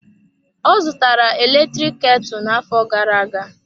Ọ zụtara eletrik ketu na-afọ gara-aga.